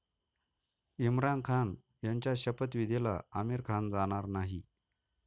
इम्रान खान यांच्या शपथविधीला आमिर खान जाणार नाही